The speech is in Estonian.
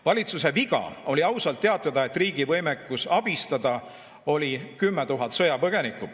Valitsuse viga oli ausalt teatada, et riigil on võimekus abistada 10 000 sõjapõgenikku.